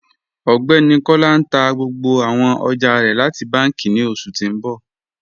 Ọgbẹni Kọla n tà gbogbo àwọn ọjà rẹ láti bànki ní oṣù tí n bọ